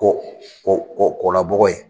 Kɔ kɔ kɔ kɔla bɔgɔ ye.